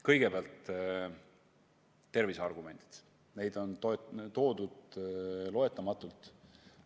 Kõigepealt tervise argumendid, neid on toodud loendamatult.